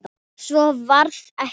Svo varð ekki.